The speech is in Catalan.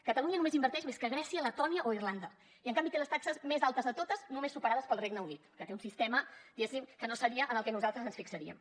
catalunya només inverteix més que grècia letònia o irlanda i en canvi té les taxes més altes de totes només superades pel regne unit que té un sistema diguéssim que no seria en el que nosaltres ens fixaríem